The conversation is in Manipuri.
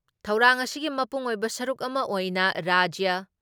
ꯊꯧꯔꯥꯡ ꯑꯁꯤꯒꯤ ꯃꯄꯨꯡꯑꯣꯏꯕ ꯁꯔꯨꯛ ꯑꯃ ꯑꯣꯏꯅ ꯔꯥꯖ꯭ꯌ